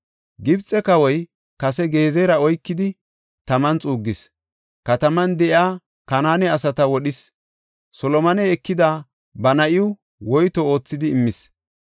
Gibxe kawoy kase Gezera oykidi taman xuuggis. Kataman de7iya Kanaane asata wodhis; Solomoney ekida ba na7iw woyto oothidi immis.